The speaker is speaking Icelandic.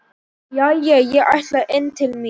Jæja, ég ætla inn til mín.